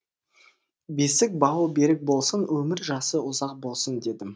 бесік бауы берік болсын өмір жасы ұзақ болсын дедім